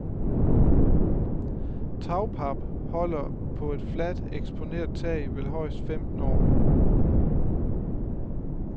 Tagpap holder på et fladt, eksponeret tag vel højst femten år.